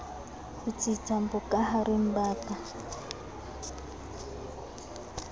ho tsitsa bokahareng ba ka